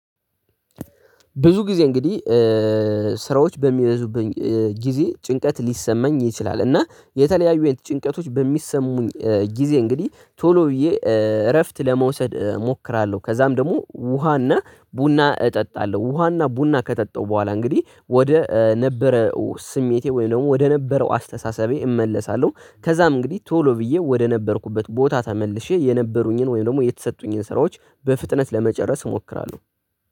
ብዙ ጊዜ እንግዲህ ሄ ስራዎች በሚበዙበት ጊዜ ጭንቀት ሊሰማኝ ይችላል፤ እና የተለያዩ የጭንቀቶች በሚሰሙኝ ጊዜ እንግዲህ ቶሎ ብዬ እ- እረፍት ለመውሰድ እሞክራለሁ፤ ከዛም ደግሞ ውሃና ቡና እጠጣለሁ፤ ውሃና ቡና ከጠጣው በኋላ እንግዲህ ወደ ነበረው ስሜቴ ወይም ደግሞ ወደ ነበረው አስተሳሰቤ እመለሳለሁ። ከዛም እንግዲህ ቶሎ ብዬ ወደ ነበርኩበት ቦታ ተመልሼ የነበሩኝን ወይም ደግሞ የተሰጡኝን ስራዎች በፍጥነት ለመጨረስ እሞክራለሁ።